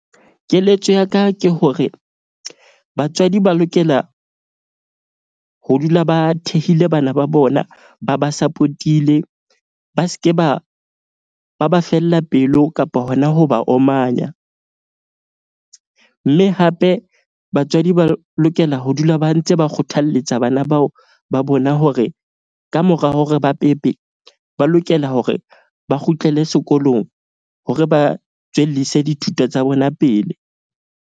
Keletso ya ka ke hore batswadi ba lokela ho dula ba thehile bana ba bona ba ba support-ile. Ba ske ba ba fella pelo kapa hona ho ba omanya. Mme hape batswadi ba lokela ho dula ba ntse ba kgothalletsa bana bao ba bona hore kamora hore ba pepe, ba lokela hore ba kgutlele sekolong hore ba tswellise dithuto tsa bona pele.